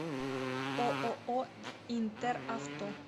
ооо интер авто